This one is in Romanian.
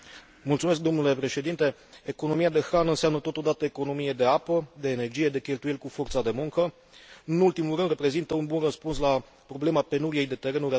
Economia de hrană înseamnă totodată economie de apă, de energie, de cheltuieli cu forța de muncă nu în ultimul rând, reprezintă un bun răspuns la problema penuriei de terenuri, atât de mult discutată în ultima vreme.